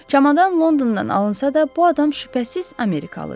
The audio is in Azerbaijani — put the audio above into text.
Çamadan Londondan alınsa da, bu adam şübhəsiz Amerikalıdır.